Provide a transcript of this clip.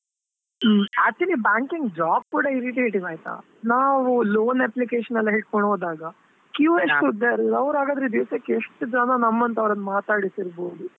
ಹ್ಮ್, actually banking job ಕೂಡಾ irritative ಆಯ್ತಾ, ನಾವು loan application ಎಲ್ಲಾ ಹಿಡ್ಕೊಂಡು ಹೋದಾಗಾ queue ಉದ್ದ ಇರಲ್ಲ, ಅವ್ರು ಹಾಗಾದ್ರೆ ದಿವ್ಸಕ್ಕೆ ಎಷ್ಟು ಜನಾ ನಮ್ಮಂತವರನ್ನ ಮಾತಾಡಿಸ್ ಇರ್ಬೋದು?